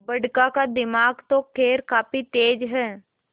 बड़का का दिमाग तो खैर काफी तेज है